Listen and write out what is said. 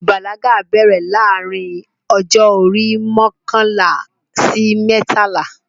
Ìbàlágà bẹ̀rẹ̀ láàrin ọjọ́ orí mọkànlá sí mẹ́tàlá